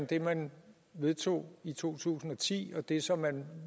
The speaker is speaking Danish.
det man vedtog i to tusind og ti og det som man